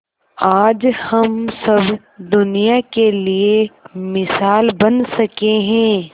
आज हम सब दुनिया के लिए मिसाल बन सके है